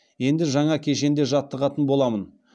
енді жаңа кешенде жаттығатын боламын